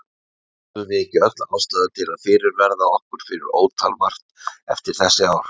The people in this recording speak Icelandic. Höfum við ekki öll ástæðu til að fyrirverða okkur fyrir ótal margt eftir þessi ár?